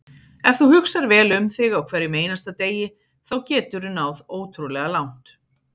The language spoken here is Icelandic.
Ef þú hugsar vel um þig á hverjum einasta degi þá geturðu náð ótrúlega langt.